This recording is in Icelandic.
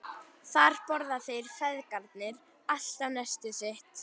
Þar borða þeir feðgarnir alltaf nestið sitt.